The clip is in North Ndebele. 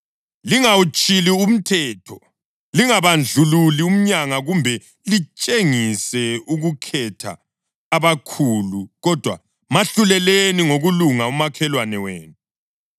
Lingawutshili umthetho; lingabandlululi umyanga kumbe litshengise ukukhetha abakhulu, kodwa mahluleleni ngokulunga umakhelwane wenu.